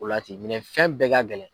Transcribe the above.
O la ten minɛ fɛn bɛɛ ka gɛlɛn.